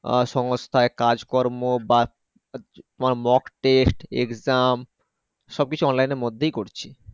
আহ সংস্থায় কাজ কর্ম বা তোমার Mock Test exam সবকিছু online এর মধ্যেই করছি।